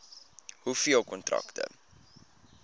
hoeveel kontrakte